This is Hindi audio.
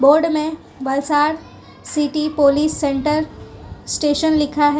बोर्ड में Valsad city police centre station लिखा है।